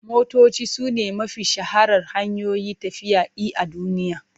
Motoci sune mafi shaharar hanyoyin tafiya i a duniya.